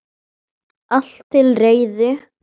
Allt til reiðu.